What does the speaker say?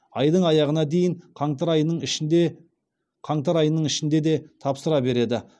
айдың аяғына дейін қаңтар айының ішінде қаңтар айының ішінде де тапсыра береді